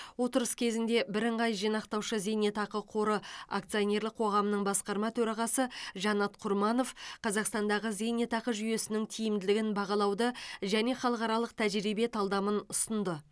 отырыс кезінде бірыңғай жинақтаушы зейнетақы қоры акционерлік қоғамының басқарма төрағасы жанат құрманов қазақстандағы зейнетақы жүйесінің тиімділігін бағалауды және халықаралық тәжірибе талдамын ұсынды